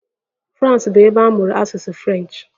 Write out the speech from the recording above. Frans bụ ebe a mụrụ asụsụ French.